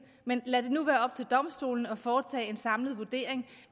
men lad det nu være op til domstolene at foretage en samlet vurdering